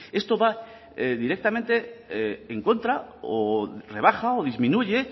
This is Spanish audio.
esto va directamente en contra o rebaja o disminuye